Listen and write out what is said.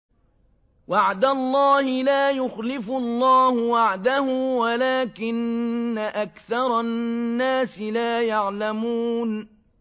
وَعْدَ اللَّهِ ۖ لَا يُخْلِفُ اللَّهُ وَعْدَهُ وَلَٰكِنَّ أَكْثَرَ النَّاسِ لَا يَعْلَمُونَ